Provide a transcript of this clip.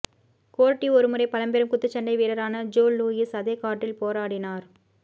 கோர்டி ஒருமுறை பழம்பெரும் குத்துச்சண்டை வீரரான ஜோ லூயிஸ் அதே கார்டில் போராடினார்